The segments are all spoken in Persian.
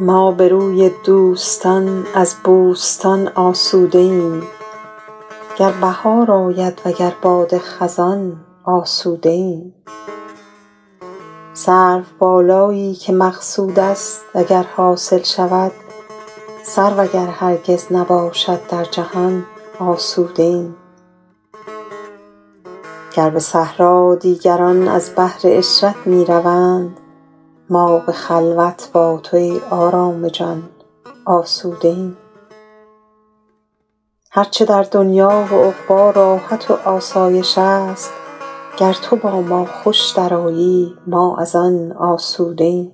ما به روی دوستان از بوستان آسوده ایم گر بهار آید وگر باد خزان آسوده ایم سروبالایی که مقصود است اگر حاصل شود سرو اگر هرگز نباشد در جهان آسوده ایم گر به صحرا دیگران از بهر عشرت می روند ما به خلوت با تو ای آرام جان آسوده ایم هر چه در دنیا و عقبی راحت و آسایش است گر تو با ما خوش درآیی ما از آن آسوده ایم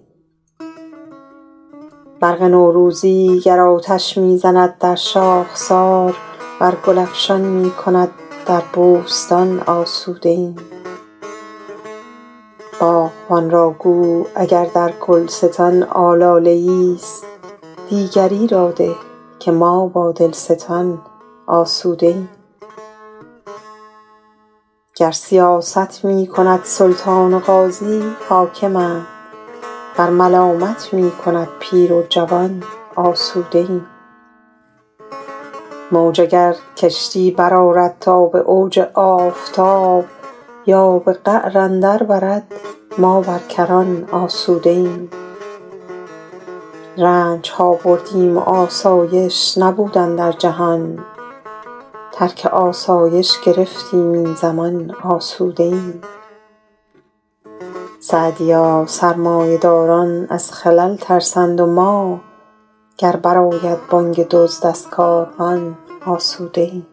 برق نوروزی گر آتش می زند در شاخسار ور گل افشان می کند در بوستان آسوده ایم باغبان را گو اگر در گلستان آلاله ایست دیگری را ده که ما با دلستان آسوده ایم گر سیاست می کند سلطان و قاضی حاکمند ور ملامت می کند پیر و جوان آسوده ایم موج اگر کشتی برآرد تا به اوج آفتاب یا به قعر اندر برد ما بر کران آسوده ایم رنج ها بردیم و آسایش نبود اندر جهان ترک آسایش گرفتیم این زمان آسوده ایم سعدیا سرمایه داران از خلل ترسند و ما گر بر آید بانگ دزد از کاروان آسوده ایم